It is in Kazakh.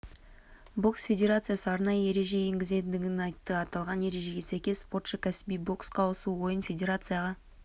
бокс федерациясы арнайы ереже енгізетіндігін айтты аталған ережеге сәйкес спортшы кәсіби боксқа ауысу ойын федерацияға